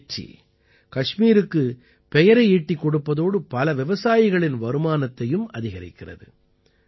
இந்த வெற்றி கஷ்மீருக்குப் பெயரை ஈட்டிக் கொடுப்பதோடு பல விவசாயிகளின் வருமானத்தையும் அதிகரிக்கிறது